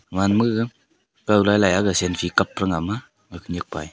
man maga gaw lailai aga selfie kap praranga ama a khenyak pa e.